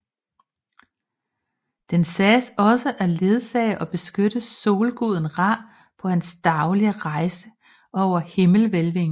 Den sagdes også at ledsage og beskytte solguden Ra på hans daglige rejse over himmelhvælvingen